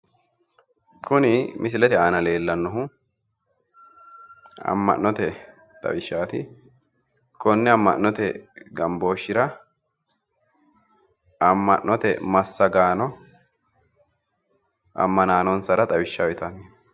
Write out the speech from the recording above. Kuni misilete aana leellannohu amma'note xawishshaati konne amma'note gambooshshira amma'note massagaano ammanaanonsara xawishsha uyiitanni no